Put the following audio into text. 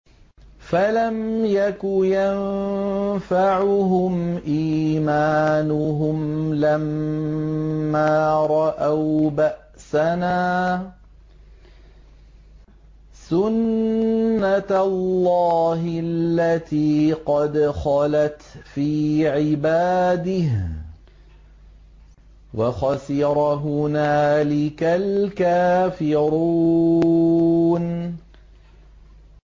فَلَمْ يَكُ يَنفَعُهُمْ إِيمَانُهُمْ لَمَّا رَأَوْا بَأْسَنَا ۖ سُنَّتَ اللَّهِ الَّتِي قَدْ خَلَتْ فِي عِبَادِهِ ۖ وَخَسِرَ هُنَالِكَ الْكَافِرُونَ